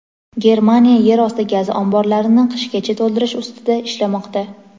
Germaniya yer osti gaz omborlarini qishgacha to‘ldirish ustida ishlamoqda.